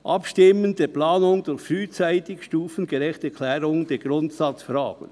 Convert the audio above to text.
Abstimmen der Planungen durch frühzeitige stufengerechte Klärung der Grundsatzfragen.